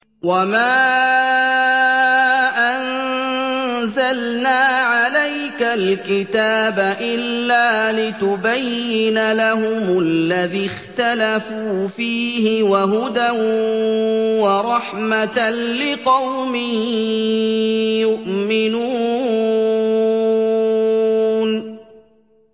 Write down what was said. وَمَا أَنزَلْنَا عَلَيْكَ الْكِتَابَ إِلَّا لِتُبَيِّنَ لَهُمُ الَّذِي اخْتَلَفُوا فِيهِ ۙ وَهُدًى وَرَحْمَةً لِّقَوْمٍ يُؤْمِنُونَ